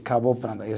Acabou planta, isso